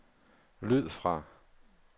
lyd fra